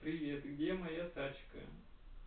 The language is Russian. привет где моя тачка